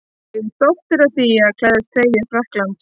Ég er stoltur af því að klæðast treyju Frakklands.